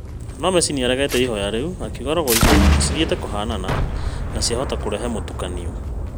No Messi nĩaregire ihoya rĩu akiuga rogo icio cithiĩte kũhanana na ciahota kũrehe mũtukanio